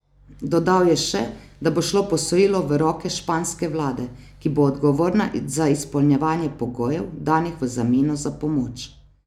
Dodal je še, da bo šlo posojilo v roke španske vlade, ki bo odgovorna za izpolnjevanje pogojev, danih v zameno za pomoč.